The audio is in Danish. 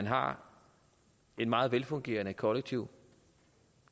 har et meget velfungerende kollektivt